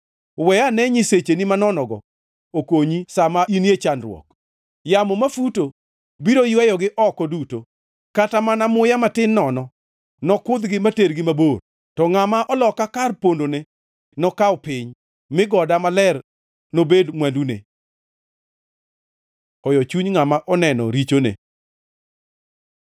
We ane nyisecheni manonogo okonyi sa ma inie chandruok! Yamo mafuto biro yweyogi oko duto, kata mana muya matin nono nokudhgi matergi mabor. To ngʼama oloka kar pondone nokaw piny, mi goda maler nobed mwandune.” Hoyo chuny ngʼama oneno richone